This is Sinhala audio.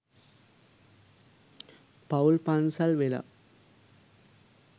පවුල් පන්සල් වෙලා